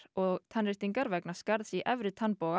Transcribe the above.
og tannréttingar vegna skarðs í efri